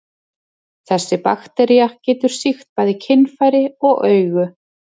Þessi baktería getur sýkt bæði kynfæri og augu.